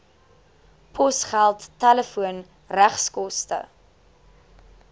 posgeld telefoon regskoste